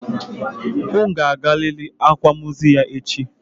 Unu ga-agarịrị akwamozu ya echi!